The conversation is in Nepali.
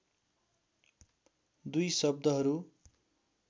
दुई शब्दहरू